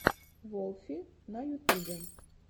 волфи на ютубе